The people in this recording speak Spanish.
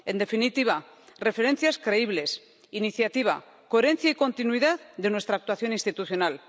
En definitiva, referencias creíbles, iniciativa, coherencia y continuidad de nuestra actuación institucional.